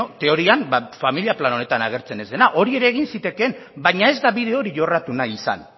teorian familia plan honetan agertzen ez dela hori ere egin zitekeen baina ez da bide hori jorratu nahi izan